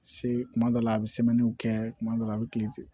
Se kuma dɔ la a bɛ kɛ kuma dɔw la a bɛ kilen ten